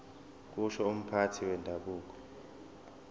kusho umphathi wendabuko